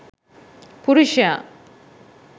පුරුෂයා